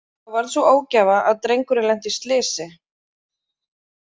Þá varð sú ógæfa að drengurinn lenti í slysi.